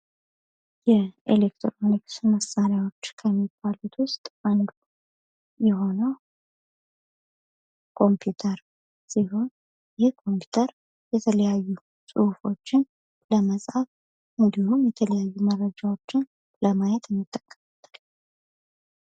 የኤሌክትሮኒክስ መሳሪያዎች ከሚባሉት ውስጥ አንዱ የሆነው ኮምፒውተር ሲሆን ይህ ኮምፒውተር የተለያዩ ጽሁፎችን ለመጻፍ እንዲሁም የተለያዩ መረጃዎችን ለማየት እንጠቀምበታለን።